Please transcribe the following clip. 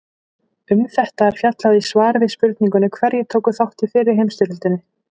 Um þetta er fjallað í svari við spurningunni Hverjir tóku þátt í fyrri heimsstyrjöldinni?